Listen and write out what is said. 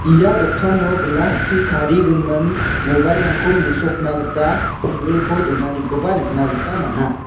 ia dokano glass-chi tarigimin mobile-rangko mesokna gita table-ko donanikoba nikna gita man·a.